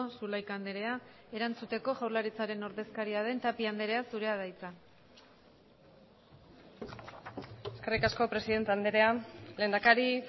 zulaika andrea erantzuteko jaurlaritzaren ordezkaria den tapia andrea zurea da hitza eskerrik asko presidente andrea lehendakari